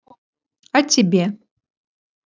о тебе